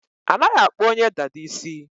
Anaghị akpụ onye dada isi.